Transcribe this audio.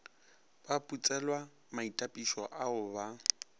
ba putselwa maitapišo ao ba